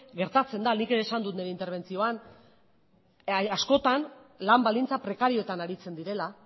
gertatzen da nik ere esan dut nire interbentzioan askotan lan baldintza prekarioetan aritzen direla